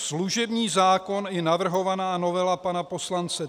Služební zákon i navrhovaná novela pana poslance